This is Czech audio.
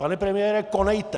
Pane premiére, konejte!